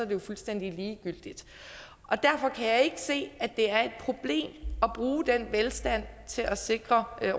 jo fuldstændig ligegyldigt derfor kan jeg se at det er et problem at bruge den velstand til at sikre